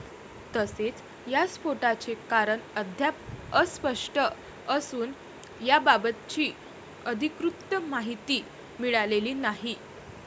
तसेच या स्फोटाचे कारण अद्याप अस्पष्ट असून याबाबतची अधिकृत माहिती मिळालेली नाही.